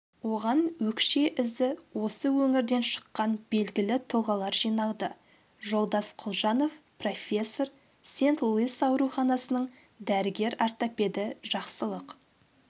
оған өкше ізі осы өңірден шыққан белгілі тұлғалар жиналды жолдас құлжанов профессор сент-луис ауруханасының дәрігер-ортопеді жақсылық